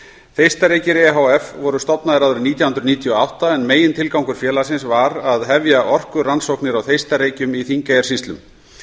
þeistareykir e h f voru stofnaðir árið nítján hundruð níutíu og átta en megintilgangur félagsins var að hefja orkurannsóknir á þeistareykjum í þingeyjarsýslum